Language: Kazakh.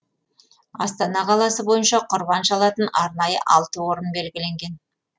астана қаласы бойынша құрбан шалатын арнайы алты орын белгіленген